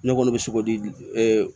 Ne kɔni bɛ sogo di